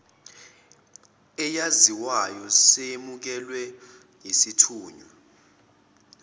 eyaziwayo seyamukelwe yisithunywa